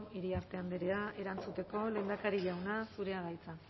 iriarte andrea erantzuteko lehendakari jauna zurea da hitza